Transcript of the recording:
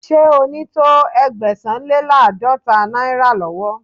Ṣé o ní to Ẹgbẹ̀sán-le-láàdọ́ta náírà lọ́wọ́?.